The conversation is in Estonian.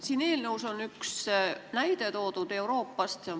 Siin eelnõus on toodud üks näide Euroopast.